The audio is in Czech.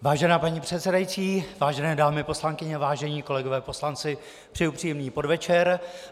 Vážená paní předsedající, vážené dámy poslankyně, vážení kolegové poslanci, přeji příjemný podvečer.